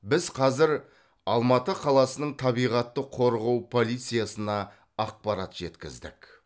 біз қазір алматы қаласының табиғатты қорғау полициясына ақпарат жеткіздік